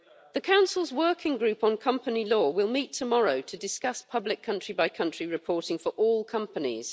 The Council's Working Group on Company Law will meet tomorrow to discuss public country-by-country reporting for all companies.